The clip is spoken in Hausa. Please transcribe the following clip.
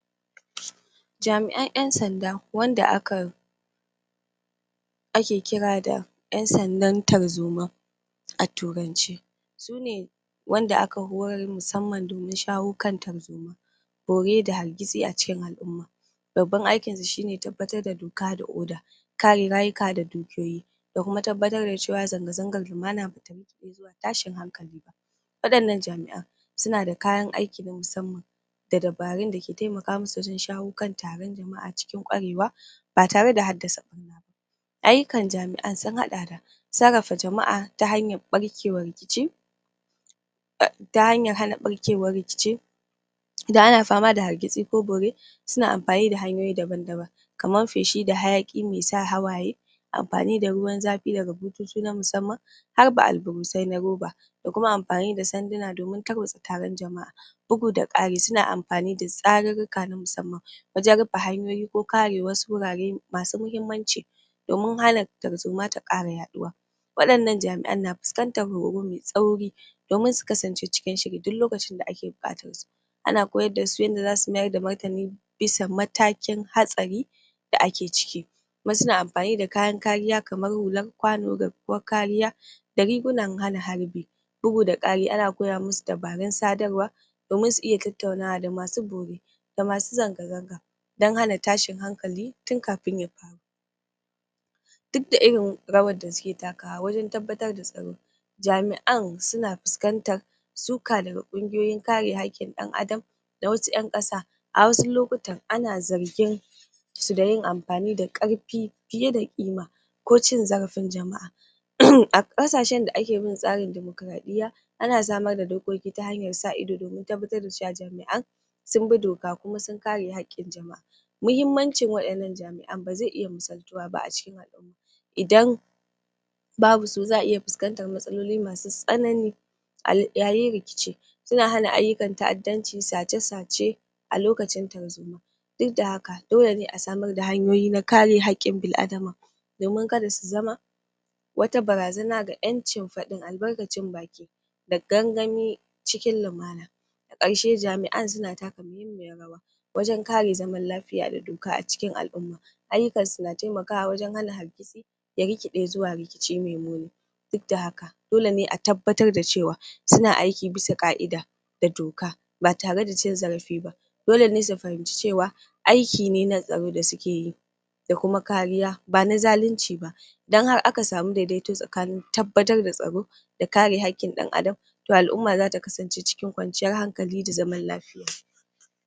Jami'an ƴan sanda wanda aka ake kira da ƴan sandan tarzoma a turance sune wanda aka horar musamman domin shawo kan tarzoma bore da hargitsi a cikin al'umma babban aikinsu shine tabbatar da doka da oda kare rayuka da dukiyoyi da kuma tabbatar da zanga-zangar lumana bata rikiɗe zuwa tashin hankali ba Waɗannan jami'an suna da kayan aiki na musamman da dabarun da ke taimaka musu wajen shawo kan taron jama'a cikin ƙwarewa ba tare da haddasa ɓarna ba Ayyukan jami'an su haɗa da sarrafa jama'a ta hanyar hana ɓarke wa rikici idan ana fama da hargitsi ko bore suna amfani da hanyoyi daban-daban kaman feshi da hayaƙi mai sa hawaye amfani da ruwan zafi daga bututu na musamman harba alburusai na roba da kuma amfani da sanduna domin tarwatsa taron jama'a bugu da ƙari, suna amfani tsarurruka na musamman wajen rufe hanyoyi ko kare wasu wurare masu muhimmanci doim hana tarzoma ta ƙara yaɗuwa Waɗannan jami'an na fuskantan horo mai tsauri domin su kasance cikin shiri duk lokacin da ake buƙatar su ana koyar da su yadda za su mayar da martani bisa matakin hatsari da ake ciki wasu na amfani da kayan kariya kaman hulan kwano, garkuwar kariya da rigunan hana harbi Bugu da ƙari, ana koya musu dabarun sadarwa, domin su iyatattaunawa da masu bore da masu zanga-zanga don hana tashin hankali tun kafin ya faru Duk da irin rawan da suke takawa wajen tabbatar da tsaro jami'an suna fuskantar suka daga ƙungiyoyin kare haƙƙin ɗan adam da wasu ƴan ƙasa A wasu lokutan ana zargin su da yin amfani da ƙarfi fiye da kima ko cin zarafin jama'a a ƙasashen da ake bin tsarin dimokuraɗiyya ana samar da dokoki ta hanyar sa ido domin tabattar da cewa jami'an sun bi doka kuma sun kare haƙƙin jama;a muhimmancin wannan jami'an ba zai iya missaltuwa ba a cikin idan babu su za a iya fuskantan matsaloli masu tsanani a yayin rikici suna hana ayyukan ta'addanci, sace-sace a lokacin tarzoma duk da haka dole ne a samar da hanyoyi na kare haƙƙin bil adama domin kada su zama wata barazana ga ƴancin fadin albarkacin baki da gangami cikin lumana ƙarshe jami'an suna taka muhimmiyan rawa wajen kare zaman lafiya da doka a cikin al'umma ayyukan su na taimakawa wajen hana hargitsi ya rikiɗe zuwa rikici mai muni duk da haka dole ne a tabbatar da cewa suna aiki bisa ƙa'ida da doka ba tare da cin zarafi ba dole ne su fahimci cewa aiki ne na tsaro da suke yi da kuma kariya ba na zalinci ba idan har aka sanu daidaito tsakanin tabbatar da tsaro da kare haƙƙin ɗan adam to al'umma zata kasance cikin kwanciyar hankali da lumana.